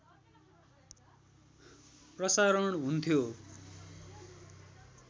प्रसारण हुन्थ्यो